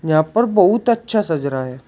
यहां पर बहुत अच्छा सज रहा है।